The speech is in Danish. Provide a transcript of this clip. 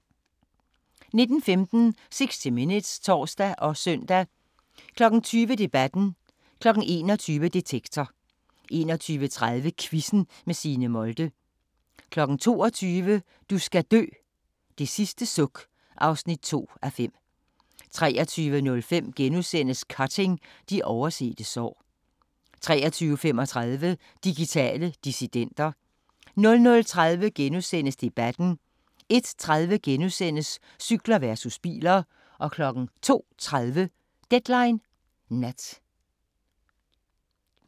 19:15: 60 Minutes (tor og søn) 20:00: Debatten 21:00: Detektor 21:30: Quizzen med Signe Molde 22:00: Du skal dø: Det sidste suk (2:5) 23:05: Cutting – de oversete sår * 23:35: Digitale dissidenter 00:30: Debatten * 01:30: Cykler versus biler * 02:30: Deadline Nat